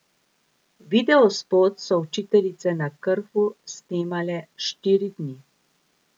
Videospot so Učiteljice na Krfu snemale štiri dni.